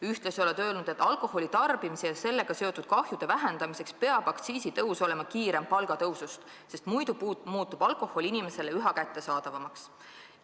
Ühtlasi oled öelnud, et alkoholi tarbimisega seotud kahju vähendamiseks peab aktsiisitõus olema kiirem palgatõusust, muidu muutub alkohol inimestele üha kättesaadavamaks.